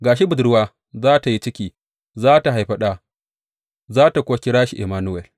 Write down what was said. Ga shi budurwa za tă yi ciki, za tă haifi ɗa, za tă kuwa kira shi Immanuwel.